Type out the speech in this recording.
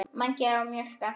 Mangi var að mjólka.